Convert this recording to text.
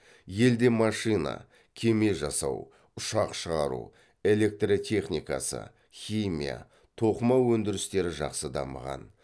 елде машина кеме жасау ұшақ шығару электртехникасы химия тоқыма өндірістері жақсы дамыған